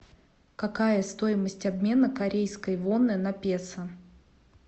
какая стоимость обмена корейской воны на песо